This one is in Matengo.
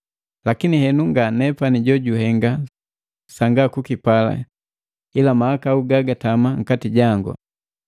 Lakini henu nga nepani jojuhenga sanga kukipala ila mahakau gagatama nkati jangu.